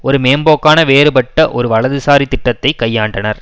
ஒரு மேம்போக்கான வேறுபட்ட ஒரு வலதுசாரி திட்டத்தை கையாண்டனர்